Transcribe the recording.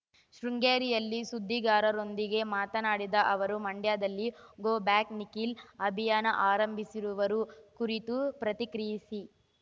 ಶೃಂಗೇರಿಯಲ್ಲಿ ಸುದ್ದಿಗಾರರೊಂದಿಗೆ ಮಾತನಾಡಿದ ಅವರು ಮಂಡ್ಯದಲ್ಲಿ ಗೋ ಬ್ಯಾಕ್ ನಿಖಿಲ್ ಅಭಿಯಾನ ಆರಂಭಿಸಿರುವರು ಕುರಿತು ಪ್ರತಿಕ್ರಿಯಿಸಿ